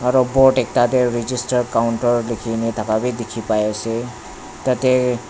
board ekta te register counter likhine thaka bi dikhi pai ase tate.